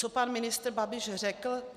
Co pan ministr Babiš řekl?